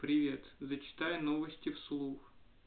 привет зачитаю новости вслух